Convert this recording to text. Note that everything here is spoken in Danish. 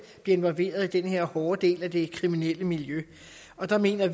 involveret i den her hårde del af det kriminelle miljø der mener